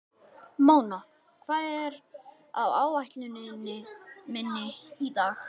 Móna, hvað er á áætluninni minni í dag?